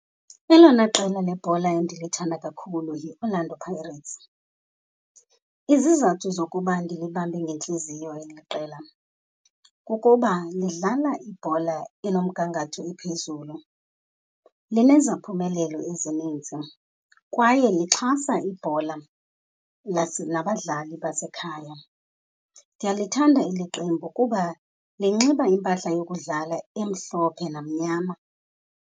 Elona qela lebhola endilithanda kakhulu yiOrlando Pirates. Izizathu zokuba ndilibambe ngentliziyo eli qela kukuba lidlala ibhola enomgangatho ophezulu, lineziphumelelo ezininzi kwaye lixhasa ibhola plus nabadlali basekhaya. Ndiyalithanda eli qembu kuba linxiba impahla yokudlala emhlophe namnyama.